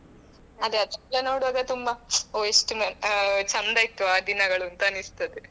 ಅದೇ ಅದೆಲ್ಲ ನೋಡುವಾಗ ಎಲ್ಲ ಓಹ್ ಮ್ ಎಷ್ಟು ಚಂದ ಇತ್ತುಆ ದಿನಗಳುಅಂತ ಅನ್ನಿಸ್ತದೆ.